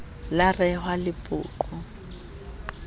la rehwa lepoqo eo ha